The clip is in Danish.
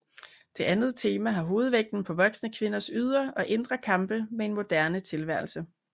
Det andet tema har hovedvægten på voksne kvinders ydre og indre kampe med en moderne tilværelse